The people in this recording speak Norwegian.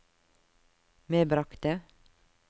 medbragte